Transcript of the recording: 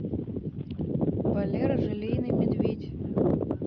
валера желейный медведь